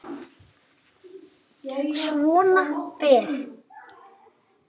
Svona fer.